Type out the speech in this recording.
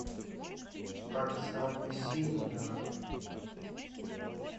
оксана симонова